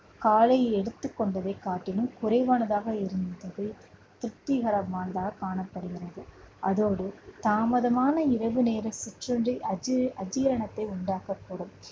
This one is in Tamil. காலையில் எடுத்துக் கொண்டதைக் காட்டிலும் குறைவானதாக இருந்தது திருப்திகரமானதாகக் காணப்படுகிறது. அதோடு தாமதமான இரவு நேர சிற்றுண்டி அது அஜீரணத்தை உண்டாக்கக்கூடும்